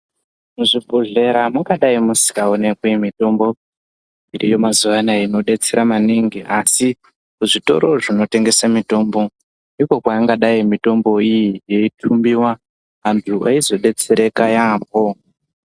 Muzvibhodhlera mungadai musingaoneki mitombo ngeemazuva anaya inobetsera maningi asi muzvitoro zvinotengese mitombo iko kwaangadai mitombo iyi yeitumbiwa antu eizodetsereka yaemho.